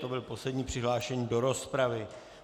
To byl poslední přihlášený do rozpravy.